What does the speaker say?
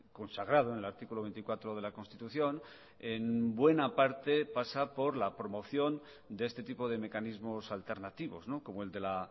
consagrado en el artículo veinticuatro de la constitución en buena parte pasa por la promoción de este tipo de mecanismos alternativos como el de la